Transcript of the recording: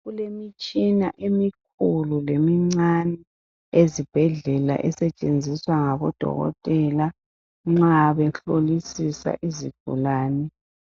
Kulemitshina emikhulu lemincane ezibhedlela esetshenziswa ngabodokotela nxa behlolisisa izigulane